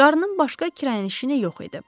Qarın başqa kirayənişi yox idi.